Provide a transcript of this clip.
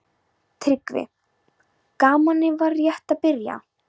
TRYGGVI: Gamanið var rétt að byrja.